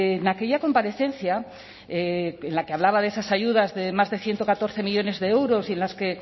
en aquella comparecencia en la que hablaba de esas ayudas de más de ciento catorce millónes de euros y en las que